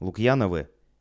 лукьяновы